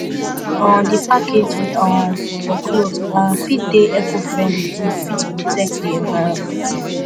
um di packaging um for cloth um fit dey ecofriendly to fit protect di environment